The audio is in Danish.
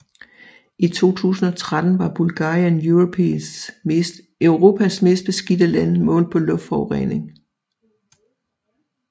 I 2013 var Bulgarien Europas mest beskidte land målt på luftforurening